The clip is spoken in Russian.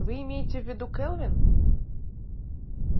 вы имеете в виду кэлвин